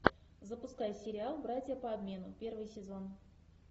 запускай сериал братья по обмену первый сезон